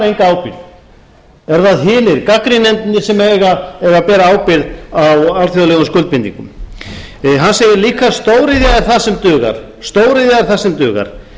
eru það hinir gagnrýnendurnir sem eiga að bera ábyrgð á alþjóðlegum skuldbindingum hann segir líka stóriðja er það sem dugar